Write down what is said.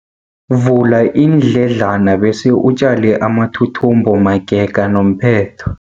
Vula iindledlana bese utjale amathuthumbo magega nomphetho.